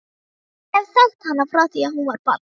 Ég hef þekkt hana frá því að hún var barn.